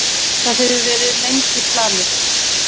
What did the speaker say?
Það hefur verið lengi planið.